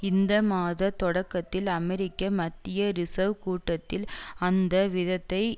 இந்த மாத தொடக்கத்தில் அமெரிக்க மத்திய ரிசேர்வ் கூட்டத்தில் அந்த விதத்தை